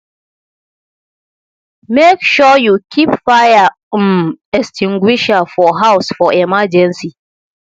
make sure you keep fire um extinguisher for house for emergency